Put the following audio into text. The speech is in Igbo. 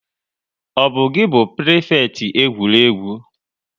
Ọ bu gi bu prifekiti egwuregwu?